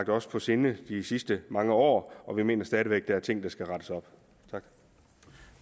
os på sinde de sidste mange år og vi mener stadig væk der er ting der skal rettes op